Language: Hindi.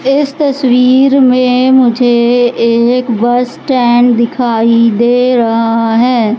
इस तस्वीर में मुझे एक बस स्टैंड दिखाई दे रहा है।